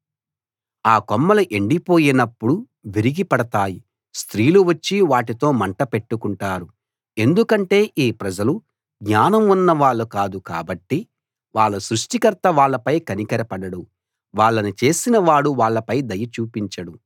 ఆ కొమ్మలు ఎండిపోయినప్పుడు విరిగిపడతాయి స్త్రీలు వచ్చి వాటితో మంట పెట్టుకుంటారు ఎందుకంటే ఈ ప్రజలు జ్ఞానం ఉన్న వాళ్ళు కాదు కాబట్టి వాళ్ళ సృష్టికర్త వాళ్ళపై కనికరపడడు వాళ్ళని చేసిన వాడు వాళ్ళపై దయ చూపించడు